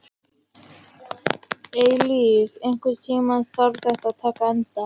Eilíf, einhvern tímann þarf allt að taka enda.